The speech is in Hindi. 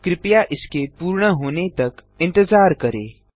कृपया इसके पूर्ण होने तक इंतजार करें